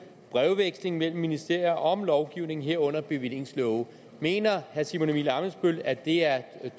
brevvekslinger mellem ministerier om lovgivning herunder bevillingslove mener herre simon emil ammitzbøll at det er